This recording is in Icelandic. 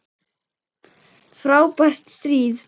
Frábært stríð!